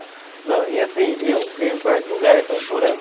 Não e assim, eu ganho quarto lugar, chorando.